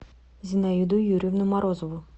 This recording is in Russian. зинаиду юрьевну морозову